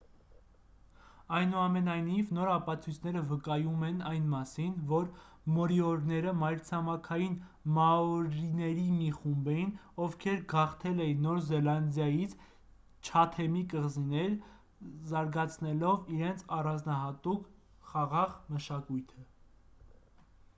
այնուամենայնիվ նոր ապացույցները վկայում են այն մասին որ մորիորիները մայրցամաքային մաորիների մի խումբ էին ովքեր գաղթել են նոր զելանդիայից չաթեմի կղզիներ զարգացնելով իրենց առանձնահատուկ խաղաղ մշակույթը